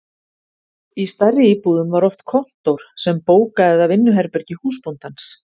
Í stærri íbúðum var oft kontór sem bóka- eða vinnuherbergi húsbóndans.